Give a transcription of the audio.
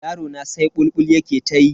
Yarona sai bulbul yake ta yi.